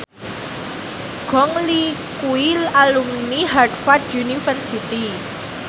Gong Li kuwi alumni Harvard university